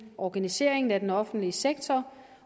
og organiseringen af den offentlige sektor